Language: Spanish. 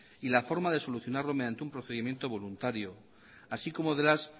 y la forma de solucionarlo mediante un procedimiento voluntario así como de las